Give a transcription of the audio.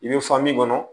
I bɛ kɔnɔ